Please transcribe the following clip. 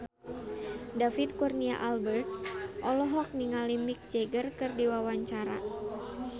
David Kurnia Albert olohok ningali Mick Jagger keur diwawancara